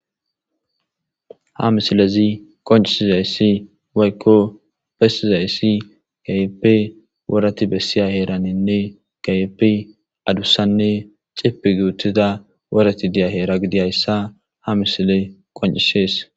ha misilezi qoncisizayssi waykko bessizayssi gayeppe worati bessiya heeraninne gayeppe adussanne cipi guutida worati diya heera gidiyayssa ha misile qoncishees